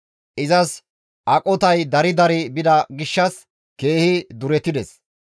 Izas aqotay dari dari bida gishshas keehi duretides.